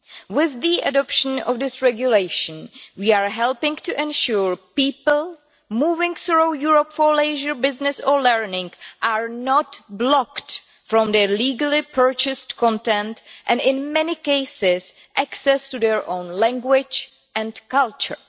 With the adoption of this regulation, we are helping to ensure people moving through Europe for leisure, business or learning are not blocked from their legally purchased content and, in many cases, access to their own language and culture.